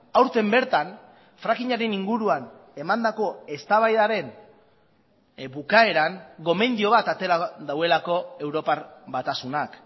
aurten bertan frackingaren inguruan emandako eztabaidaren bukaeran gomendio bat atera duelako europar batasunak